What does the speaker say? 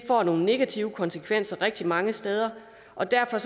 få nogle negative konsekvenser rigtig mange steder og derfor